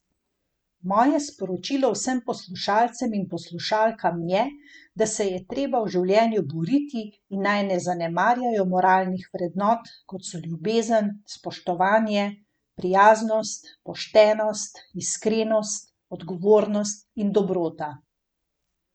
Moje sporočilo vsem poslušalcem in poslušalkam je, da se je treba v življenju boriti in naj ne zanemarjajo moralnih vrednot, kot so ljubezen, spoštovanje, prijaznost, poštenost, iskrenost, odgovornost in dobrota.